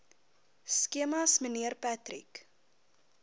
skemas mnr patrick